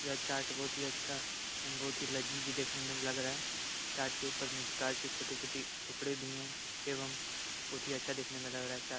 यह चाट बहुत ही अच्छा एवं बहुत ही लजीज देखने में लग रहा है । चाट के ऊपर में प्याज के छोटे छोटे टुकड़े भी हैं एवं बहुत ही अच्छा दिखने में लग रहा है चाट ।